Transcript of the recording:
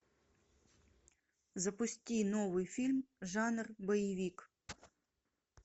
запусти новый фильм жанр боевик